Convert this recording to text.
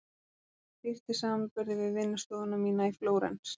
En það er dýrt í samanburði við vinnustofuna mína í Flórens.